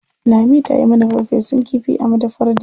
Lami ta yi mana farfesun kifi a madafar Dije.